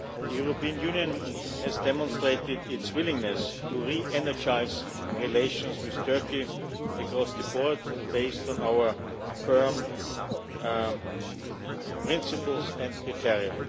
The European Union has demonstrated its willingness to re energise relations with Turkey across the board, based on our firm principles and criteria.